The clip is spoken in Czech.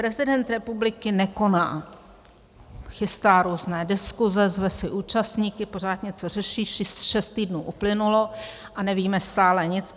Prezident republiky nekoná, chystá různé diskuse, zve si účastníky, pořád něco řeší, šest týdnů uplynulo a nevíme stále nic.